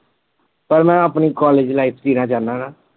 ਪਰ ਮੈ ਆਪਣੀ college life ਜੀਣਾ ਚਾਹਨਾ ਨਾ।